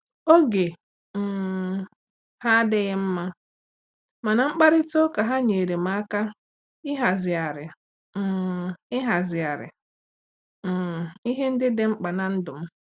Oge um ha adịghị mma, mana mkparịta ụka ahụ nyeere m aka ịhazigharị um ịhazigharị um ihe ndị ka mkpa ná ndụ m.